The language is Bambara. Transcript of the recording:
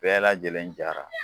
Bɛɛ lajɛlen jara